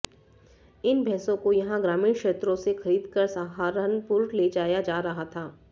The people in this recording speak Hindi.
इन भैंसों को यहां ग्रामीण क्षेत्रों से खरीद कर सहारनपुर ले जाया जा रहा था